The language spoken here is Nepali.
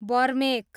बर्मेक